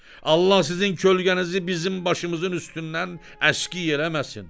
Allah sizin kölgənizi bizim başımızın üstündən əski eləməsin.